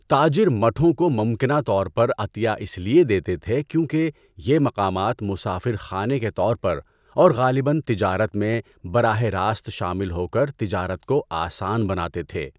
تاجر مٹھوں کو ممکنہ طور پر عطیہ اس لیے دیتے تھے کیونکہ یہ مقامات مسافر خانے کے طور پر اورغالباً تجارت میں براہ راست شامل ہو کر تجارت کو آسان بناتے تھے۔